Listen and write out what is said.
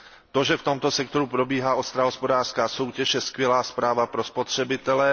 To, že v tomto sektoru probíhá ostrá hospodářská soutěž, je skvělá zpráva pro spotřebitele.